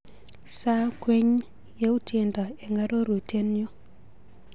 Sir ng'weny yautyenda eng arorutienyu.